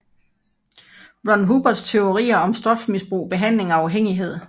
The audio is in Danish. Ron Hubbards teorier om stofmisbrug behandling og afhængighed